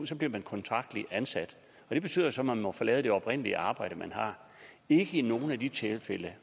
så bliver man kontraktligt ansat det betyder så at man må forlade det oprindelige arbejde man har ikke i nogle af de tilfælde